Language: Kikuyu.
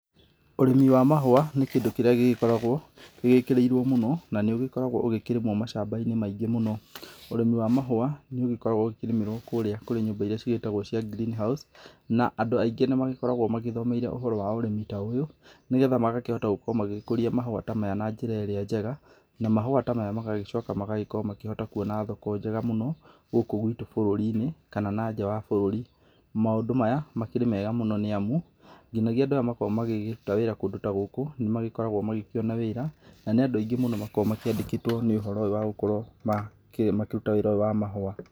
Ũrĩmi wa mahũa, nĩ kĩndũ kĩrĩa gĩgĩkoragwo gĩkĩrĩirwo mũno na nĩ ũgĩkoragwo ũgĩkĩrĩmwo mashamba-inĩ maingĩ mũno. Ũrĩmi wa mahũa, nĩ ũgĩkoragwo ũkĩrĩmĩrwo kũrĩa kũrĩ nyũmba iria ciĩtagwo cia Green House, na andũ aingĩ nĩ magĩkoragwo magĩthomeire ũrĩmi ta ũyũ, nĩ getha magakĩhota gũkorwo magĩkũria mahũa ta maya na njĩra ĩrĩa njega, na mahũa ta maya magagĩcoka magagĩkorwo makĩhota kuona thoko njega mũno, gukũ guitũ bũrũri-inĩ kana nanja wa bũrũri. Maũndũ maya, makĩrĩ mega mũno nĩ amu, ngĩnagia andũ arĩa makoragwo makĩruta wĩra kũndũ ta gũkũ, nĩ magĩkoragwo magĩkĩona wĩra na nĩ andũ aingĩ mũno makoragwo makĩandĩkĩtwo nĩ ũhoro ũyũ wa gũkorwo makĩruta wĩra ũyũ wa mahũa.